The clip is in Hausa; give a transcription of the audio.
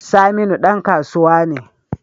Saminu dan kasuwa ne